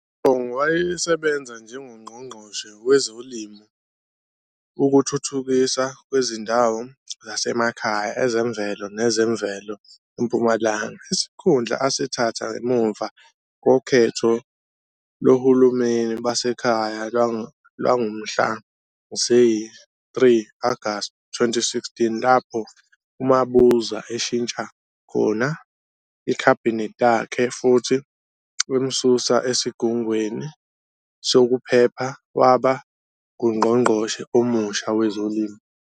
UShongwe wayesebenza njengoNgqongqoshe wezoLimo, ukuThuthukiswa kweziNdawo zaseMakhaya, ezeMvelo nezeMvelo eMpumalanga, isikhundla asithatha ngemuva kokhetho lohulumeni basekhaya lwangomhla ziyi-3 Agasti 2016 lapho uMabuza eshintsha khona iKhabhinethi lakhe futhi emsusa esigungwini sokuphepha waba nguNgqongqoshe omusha wezoLimo.